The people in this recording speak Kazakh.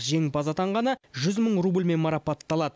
жеңімпаз атанғаны жүз мың рубльмен марапатталады